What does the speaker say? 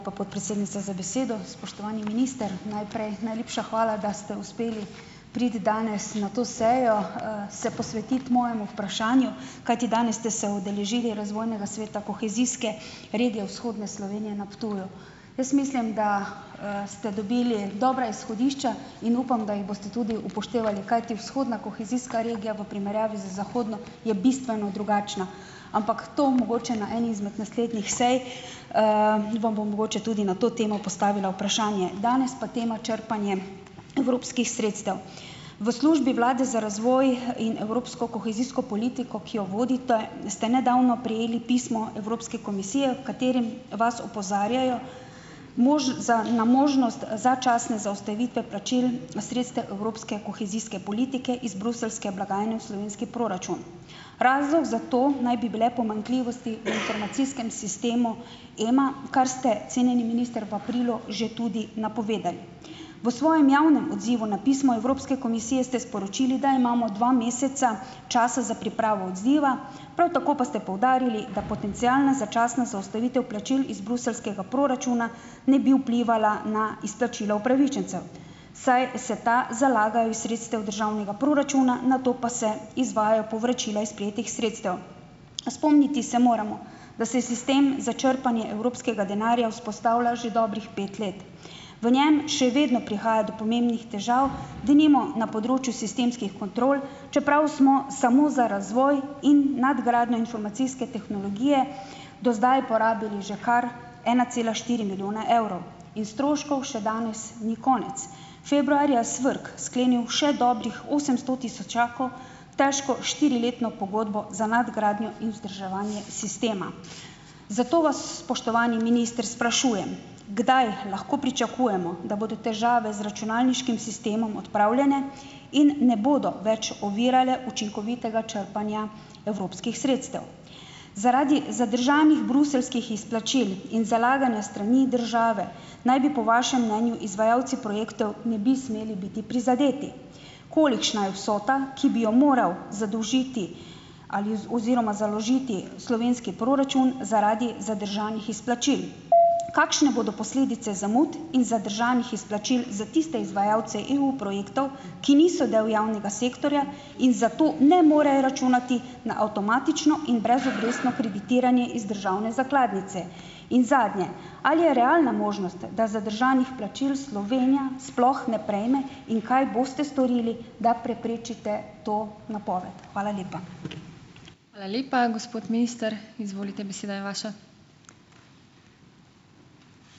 podpredsednica za besedo. Spoštovani minister! Najprej najlepša hvala, da ste uspeli priti danes na to sejo, se posvetiti mojemu vprašanju, kajti danes ste se udeležili razvojnega sveta kohezijske regije vzhodne Slovenije na Ptuju. Jaz mislim, da, ste dobili dobra izhodišča, in upam, da jih boste tudi upoštevali, kajti vzhodna kohezijska regija v primerjavi z zahodno je bistveno drugačna, ampak to mogoče na eni izmed naslednjih sej, vam bom mogoče tudi na to temo postavila vprašanje. Danes pa tema črpanje evropskih sredstev. V Službi vlade za razvoj in evropsko kohezijsko politiko, ki jo vodite, ste nedavno prejeli pismo Evropske komisije, v katerem vas opozarjajo za na možnost začasne zaustavite plačil evropske kohezijske politike iz bruseljske blagajne v slovenski proračun. Razlog za to naj bi bile pomanjkljivosti v informacijskem sistemu Ema, kar ste, cenjeni minister, v aprilu že tudi napovedali. V svojem javnem odzivu na pismo Evropske komisije ste sporočili, da imamo dva meseca časa za pripravo odziva, prav tako pa ste poudarili, da potencialna začasna zaustavitev plačil iz bruseljskega proračuna ne bi vplivala na izplačilo upravičencev, saj se ta zalagajo iz sredstev državnega proračuna, nato pa se izvajajo povračila iz prejetih sredstev. Spomniti se moramo, da se sistem za črpanje evropskega denarja vzpostavlja že dobrih pet let. V njem še vedno prihaja do pomembnih težav, denimo na področju sistemskih kontrol, čeprav smo samo za razvoj in nadgradnjo informacijske tehnologije do zdaj porabili že kar ena cela štiri milijone evrov in stroškov še danes ni konec. Februarja SVRK sklenil še dobrih osemsto tisočakov težko štiriletno pogodbo za nadgradnjo in vzdrževanje sistema. Zato vas, spoštovani minister, sprašujem: Kdaj lahko pričakujemo, da bodo težave z računalniškim sistemom odpravljene in ne bodo več ovirale učinkovitega črpanja evropskih sredstev? Zaradi zadržanih bruseljskih izplačil in zalaganja s strani države naj bi po vašem mnenju izvajalci projektov ne bi smeli biti prizadeti. Kolikšna je vsota, ki bi jo moral zadolžiti ali oziroma založiti slovenski proračun zaradi zadržanih izplačil? Kakšne bodo posledice zamud in zadržanih izplačil za tiste izvajalce EU-projektov, ki niso del javnega sektorja in zato ne morejo računati na avtomatično in brezobrestno kreditiranje iz državne zakladnice? In zadnje. Ali je realna možnost, da zadržanih plačil Slovenija sploh ne prejme in kaj boste storili, da preprečite to napoved? Hvala lepa.